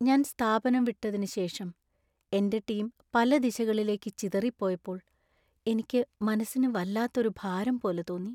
ഞാൻ സ്ഥാപനം വിട്ടതിന് ശേഷം എന്‍റെ ടീം പല ദിശകളിലേക്ക് ചിതറിപ്പോയപ്പോൾ എനിക്ക് മനസ്സിന് വല്ലാത്ത ഒരു ഭാരം പോലെ തോന്നി .